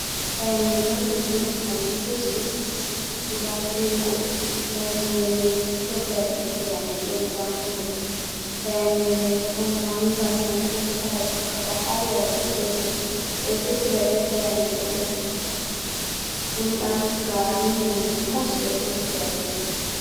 Fayannde may on ɗo jooɗi, kanje sis piisis guda jeego, fayannde may nonde siilo, fayannde njamndi on dammuɗe. Fayannde may ɗon mannga sam, tokkata, tokkata, har warugo peetel. Ɓe ɗo defida be fayannde ɗo on, gulɗam, gaari, nyamdu, pat ɓe ɗo naftira be may.